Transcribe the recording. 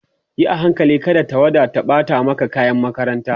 Yi a hankali kada tawada ta ɓata maka kayan makaranta